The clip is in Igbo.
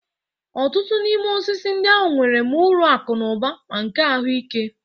Ọtụtụ n'ime osisi ndị ahụ nwere ma uru akụ na ụba ma nke ahụike.